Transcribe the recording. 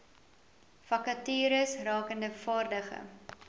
vakatures rakende vaardige